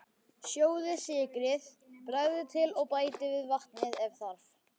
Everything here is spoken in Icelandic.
Sjóðið, sykrið, bragðið til og bætið við vatni ef þarf.